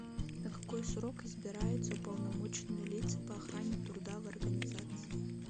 на какой срок избираются уполномоченные лица по охране труда в организации